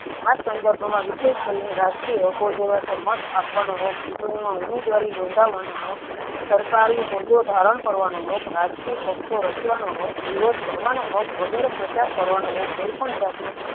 આ સંદર્ભમાં ની રાજકીય હકો જેવા કે માટે આપવાનો હક ચૂંટણીમાં ઉમેદવારી નોંધાવવા નો હક સરકારી હોદ્દો ધારણ કરવાનો હક રાજકીય પક્ષઓ રચવાનો હક વિરોધ કરવાનો હક વગેરે પ્રચાર કરવાનો હક કોઈપણ જાતના